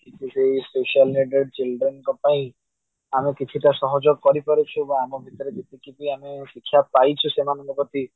ସେଇ special needed children ଙ୍କ ପାଇଁ ଆମେ କିଛି ଟା ସହଯୋଗ କରିପାରୁଛୁ ବା ଆମ ଭିତରେ ଯେମତିକି ବି ଆମେ ଶିକ୍ଷା ପାଇଛୁ ବି ସେମାନଙ୍କ ପ୍ରତି